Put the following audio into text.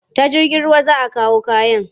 Ta jirgin ruwa za a kawo kayan?